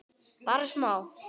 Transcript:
Bara smá.